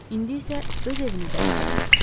İndi isə öz evinizə qayıdın,